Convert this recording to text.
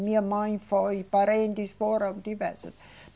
Minha mãe foi, parentes foram, diversos.